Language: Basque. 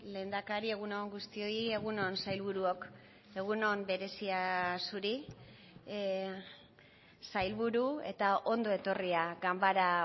lehendakari egun on guztioi egun on sailburuok egun on berezia zuri sailburu eta ondo etorria ganbara